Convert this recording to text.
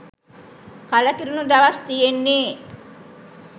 කලකිරුණු දවස් තියෙන්නේ